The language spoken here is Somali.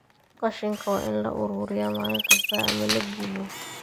Qashinka waa in la ururiyaa maalin kasta ama la gubo.